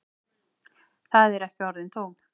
Þetta eru ekki orðin tóm.